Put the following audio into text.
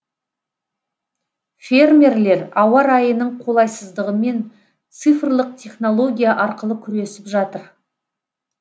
фермерлер ауа райының қолайсыздығымен цифрлық технология арқылы күресіп жатыр